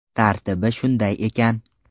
Tartibi shunday ekan.